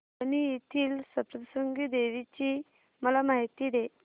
वणी येथील सप्तशृंगी देवी ची मला माहिती दे